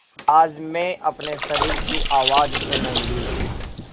आज मैं अपने शरीर की आवाज़ सुनूँगी